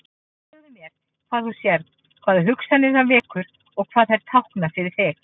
Segðu mér hvað þú sérð, hvaða hugsanir það vekur og hvað þær tákna fyrir þig.